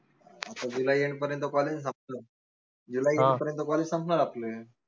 आता जुलै end पर्यंत college संपत जुलै end पर्यंत college संपणार आपले